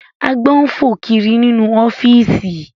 Àgbọ̀n ń fò kiri nínú ọ́fíìsì